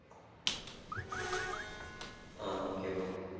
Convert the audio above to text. ah okay bro